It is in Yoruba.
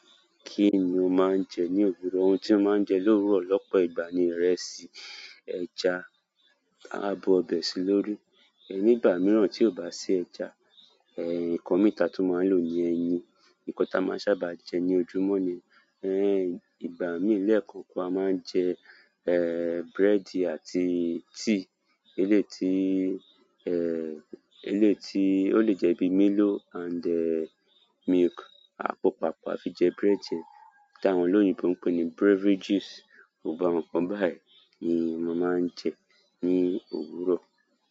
Kí ni mo máa ń jẹ́ ní òwúrọ̀? Ohùn tí mo máa jẹ lówúrọ̀ ló pọ̀ ìgbà ni ìrẹsì, ẹja máa bú ọbẹ̀ sí lórí. Ní ìgbà mìíràn tí kò bá sí ẹja, nǹkan mìí tí a tún máa ń lò ni ẹyin. Nǹkan tí a máa ń sábà jẹ ní ojúmọ́ ni, ìgbà míì lẹ́ẹ̀kan, a máa ń jẹ búrẹ́dì àti tíì. Ìlétí, ìlétí ó lè jẹ́ bíi Milo and dẹ̀ milk. Àpò paápọ̀ a fi jẹ búrẹ́dì táwọn oloyìnbó pè ní beverages. Gbogbo àwọn nǹkan báyìí ni mo máa jẹ́ ní òwúrọ̀.